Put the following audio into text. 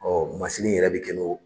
yɛrɛ bɛ kɛ n'o